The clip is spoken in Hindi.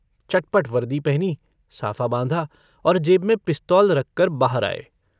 चटपट वर्दी पहनी, साफा बाँधा और जेब में पिस्तौल रखकर बाहर आए।